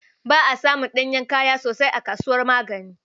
Ba asamun ɗanyen kaya sosai a kasuwar Magani